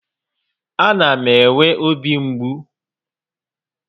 A na m enwe obi mgbu